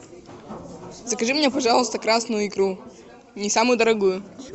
закажи мне пожалуйста красную икру не самую дорогую